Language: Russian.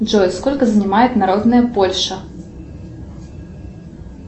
джой сколько занимает народная польша